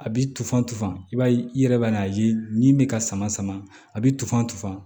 A bi tufan tufan i b'a ye i yɛrɛ b'a n'a ye ni bɛ ka sama sama a bɛ tufan tufa